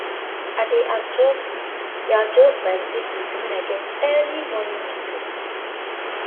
i dey adjust dey adjust my sleep routine when i get early morning meetings